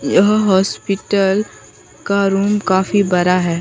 यह हॉस्पिटल का रूम काफी बड़ा है।